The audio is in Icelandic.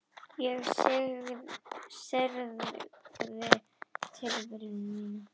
Ég syrgði tilveru mína.